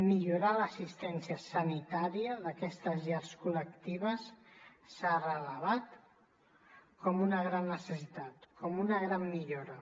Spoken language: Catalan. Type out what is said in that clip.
millorar l’assistència sanitària d’aquestes llars col·lectives s’ha revelat com una gran necessitat com una gran millora